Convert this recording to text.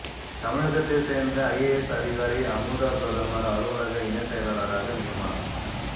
தமிழகத்தைச் சேர்ந்த ஐஏஎஸ் அதிகாரி அமுதா பிரதமர் அலுவலக இணைச் செயலாளராக நியமனம்